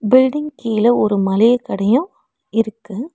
Building கீழ ஒரு மளிக கடையு இருக்கு.